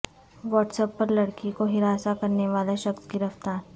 what's app پر لڑکی کو ہراساں کرنے والا شخص گرفتار